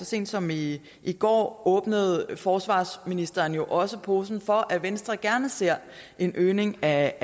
sent som i går åbnede forsvarsministeren jo også posen for at venstre gerne ser en øgning af